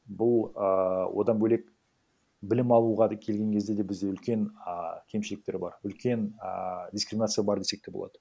бұл ыыы одан бөлек білім алуға да келген кезде де бізде үлкен а кемшіліктер бар үлкен а дискриминация бар десек те болады